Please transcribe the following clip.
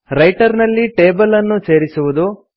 writer ನಲ್ಲಿ table ಅನ್ನು ಸೇರಿಸುವುದು